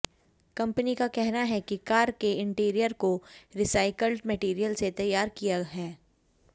company का कहना है कि कार के इंटीरियर को रीसाइकल्ड मटेरियल से तैयार किया है